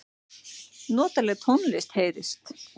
Notaleg tónlist heyrist.